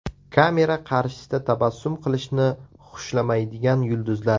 Kamera qarshisida tabassum qilishni xushlamaydigan yulduzlar.